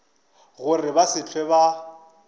gore ba se hlwe ba